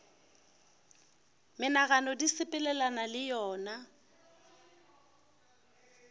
menagano di sepelelana le yona